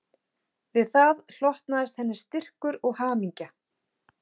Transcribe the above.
Við það hlotnaðist henni styrkur og hamingja